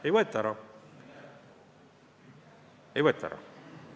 Ei võeta ära!